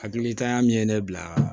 Hakilitanya min ye ne bila